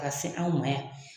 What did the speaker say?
Ka se anw ma yan